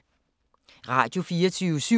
Radio24syv